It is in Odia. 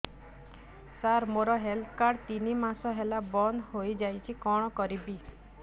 ସାର ମୋର ହେଲ୍ଥ କାର୍ଡ ତିନି ମାସ ହେଲା ବନ୍ଦ ହେଇଯାଇଛି କଣ କରିବି